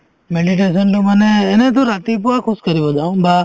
meditation তো মানে এনেতো ৰাতিপুৱা খোজ কাঢ়ি যাও বা